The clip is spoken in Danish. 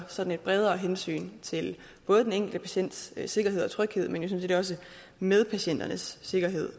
sådan et bredere hensyn til både den enkelte patients sikkerhed og tryghed men jo sådan set også medpatienternes sikkerhed